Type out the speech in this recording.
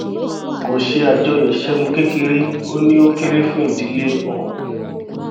kò ṣe àjọyọ ìṣẹgun kékeré ó ní ó kéré fún ìdílé òun